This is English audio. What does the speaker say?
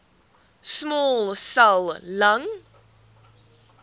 small cell lung